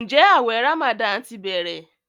Njé awé ramadan tí bẹrẹ?